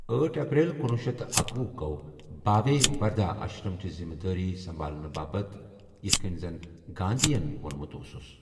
أٹھ ایپریل کنوُہ شیتھ تہٕ اکوُہ گوٚو باوے وردھا اشرمٕچہِ ذِمہٕ وٲری سمبھالنہٕ باپت ، ییِتھہٕ كٕنۍ زن گاندھی ین وۄنمُت اوسُس ۔